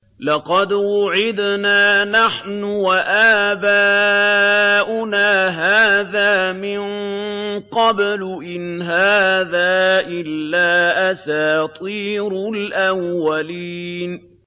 لَقَدْ وُعِدْنَا نَحْنُ وَآبَاؤُنَا هَٰذَا مِن قَبْلُ إِنْ هَٰذَا إِلَّا أَسَاطِيرُ الْأَوَّلِينَ